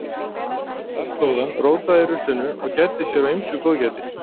Þar stóð hann, rótaði í ruslinu og gæddi sér á ýmsu góðgæti.